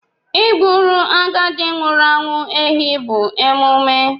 Ị Egburu agadi nwụrụ anwụ ehi bụ emume.